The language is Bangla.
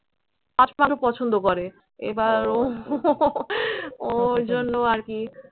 হাত পাখা পছন্দ করে। এবার ও ওর জন্য আরকি